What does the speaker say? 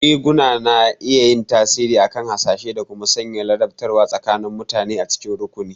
Riguna na iya yin tasiri akan hasashe da kuma sanya ladabtarwa tsakanin mutane a cikin rukuni.